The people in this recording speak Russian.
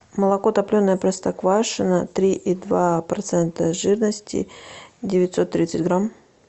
молоко топленое простоквашино три и два процента жирности девятьсот тридцать грамм